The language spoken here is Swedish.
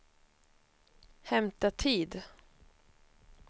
hämta tid